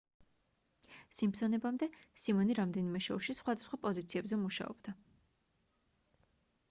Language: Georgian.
სიმფსონებამდე სიმონი რამდენიმე შოუში სხვადასხვა პოზიციებზე მუშაობდა